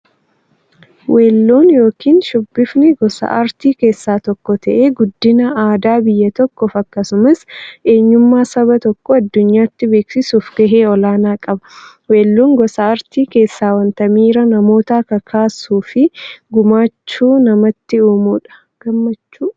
Weelluun yookin shubbifni gosa aartii keessaa tokko ta'ee, guddina aadaa biyya tokkoof akkasumas eenyummaa saba tokkoo addunyyaatti beeksisuuf gahee olaanaa qaba. Weelluun gosa artii keessaa wanta miira namootaa kakaasuufi gammachuu namatti uummudha.